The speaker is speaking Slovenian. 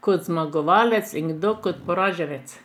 kot zmagovalec in kdo kot poraženec.